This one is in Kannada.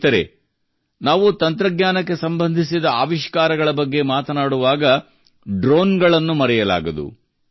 ಸ್ನೇಹಿತರೇ ನಾವು ತಂತ್ರಜ್ಞಾನಕ್ಕೆ ಸಂಬಂಧಿಸಿದ ಆವಿಷ್ಕಾರಗಳ ಬಗ್ಗೆ ಮಾತನಾಡುವಾಗ ನಾವು ಡ್ರೋನ್ಗಳನ್ನು ಮರೆಯಲಾಗದು